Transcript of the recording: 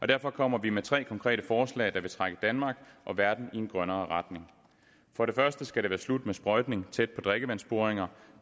derfor kommer vi med tre konkrete forslag der vil trække danmark og verden i en grønnere retning for det første skal det være slut med sprøjtning tæt på drikkevandsboringer